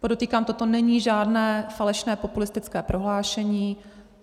Podotýkám, toto není žádné falešné populistické prohlášení.